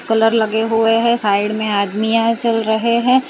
Colour लगे हुए हैं साइड में आदमीया है चल रहे हैं।